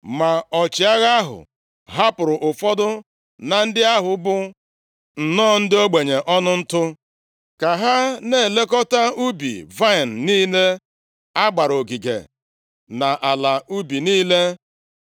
Ma ọchịagha ahụ, hapụrụ ụfọdụ na ndị ahụ bụ nnọọ ndị ogbenye ọnụ ntụ, ka ha na-elekọta ubi vaịnị niile a gbara ogige na ala ubi niile.